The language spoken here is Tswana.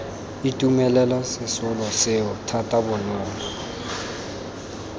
itumelela sesolo seo thata bonolo